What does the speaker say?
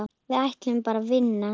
Við ætluðum bara að vinna.